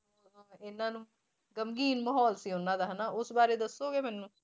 ਇਹਨਾਂ ਨੂੰ ਮਾਹੌਲ ਸੀ ਉਹਨਾਂ ਦਾ ਹਨਾ ਉਸ ਬਾਰੇ ਦੱਸੋਗੇ ਮੈਨੂੰ?